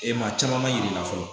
E maa caman ma yir'i la fɔlɔ